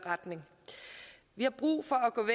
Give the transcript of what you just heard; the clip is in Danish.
retning vi har brug for